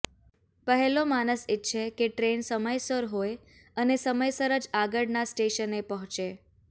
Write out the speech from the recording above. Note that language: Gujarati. પહેલો માણસ ઈચ્છે કે ટ્રેન સમયસર હોય અને સમયસર જ આગળના સ્ટેશને પહોંચે